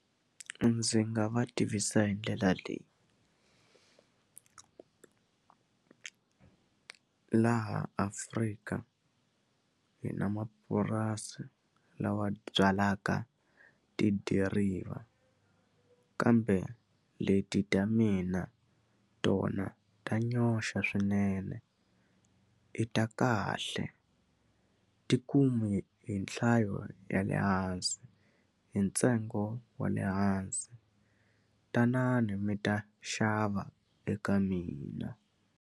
Ndzi nga va tivisa hi ndlela leyi laha Afrika hi na mapurasi lawa byalaka tidiriva kambe leti ta mina tona ta nyoxa swinene i ta kahle ti kumi hi nhlayo ya le hansi hi ntsengo wa le hansi tanani mi ta xava eka mina.